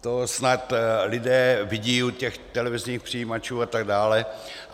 To snad lidé vidí u těch televizních přijímačů a tak dále.